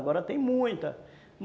Agora tem muita.